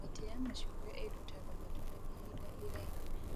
Mĩtĩ ya macungwa ĩrutaga matunda ihinda iraihu